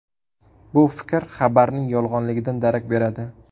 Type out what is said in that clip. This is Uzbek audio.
Bu fikr xabarning yolg‘onligidan darak beradi.